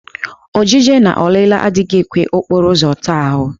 Ọjịje na ọlịla adịghị ekwe okporo ụzọ taa ahụ.